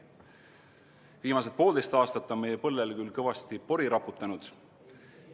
Viimased poolteist aastat on meie põllele küll kõvasti pori raputatud.